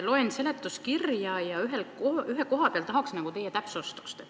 Loen seletuskirja ja ühe koha peal tahaks teie täpsustust.